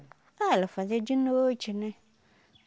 Ah, ela fazia de noite, né?